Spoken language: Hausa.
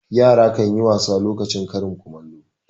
Yara kan yi wasa lokacin karin kumallo.